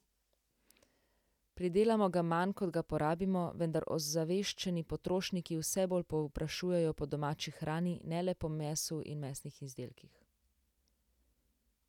Pridelamo ga manj, kot ga porabimo, vendar ozaveščeni potrošniki vse bolj povprašujejo po domači hrani, ne le po mesu in mesnih izdelkih.